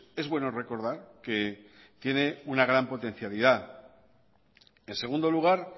es bueno recordar que tiene una gran potencialidad en segundo lugar